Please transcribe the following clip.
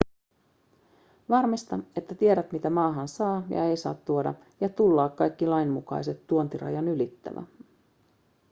varmista että tiedät mitä maahan saa ja ei saa tuoda ja tullaa kaikki lainmukaiset tuontirajat ylittävä